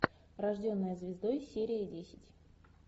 рожденная звездой серия десять